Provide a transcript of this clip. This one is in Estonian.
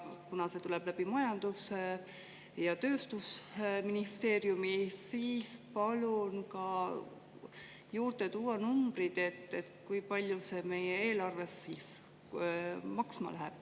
Kuna see tuleb majandus‑ ja tööstusministeeriumi kaudu, siis palun juurde tuua numbrid, kui palju see meie eelarves maksma läheb.